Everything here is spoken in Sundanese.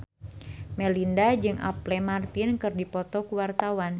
Melinda jeung Apple Martin keur dipoto ku wartawan